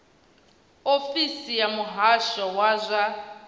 ofisi ya muhasho wa zwa